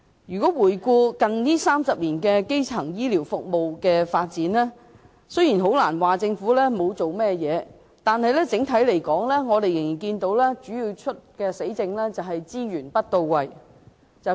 回顧過去近30年的基層醫療服務發展，雖然不能說政府沒有下工夫，但整體而言，我們看見主要的問題仍然是資源不到位，說比做多。